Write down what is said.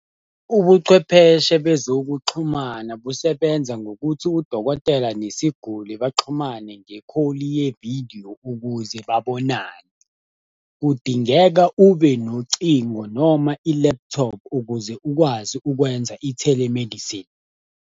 Ubuchwepheshe bezokuxhumana busebenza ngokuthi udokotela nesiguli baxhumane nge-call yevidiyo ukuze babonane. Kudingeka ube nocingo noma i-laptop ukuze ukwazi ukwenza i-telemedicine.